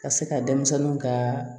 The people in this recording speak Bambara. Ka se ka denmisɛnninw ka